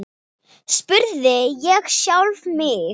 spurði ég sjálfan mig.